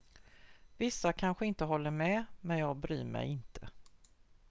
"""vissa kanske inte håller med men jag bryr mig inte.